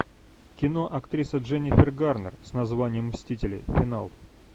кино актриса дженнифер гарнер с названием мстители финал